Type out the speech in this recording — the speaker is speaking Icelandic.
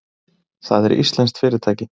Það er íslenskt fyrirtæki.